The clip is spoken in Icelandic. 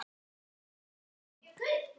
Hvernig vitum við það?